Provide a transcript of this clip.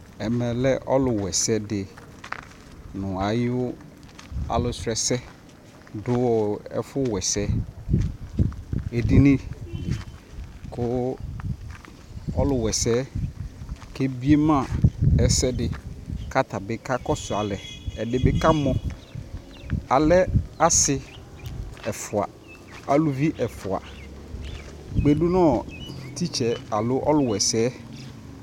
ɛmɛ lɛ ɔlʋ wɛsɛ di nʋ ayɔ alʋ srɔ ɛsɛ dʋ ɛƒʋ wɛsɛ ɛdini kʋ ɔlʋ wɛsɛ kɛ biɛ ma ɛsɛdi kʋ atabi ka kɔsʋ alɛ, ɛdi bi kamɔ, alɛ asii ɛƒʋa, alʋvi ɛƒʋa kpɛ dʋnʋ teacherɛ alɔ ɔlʋ wa ɛsɛ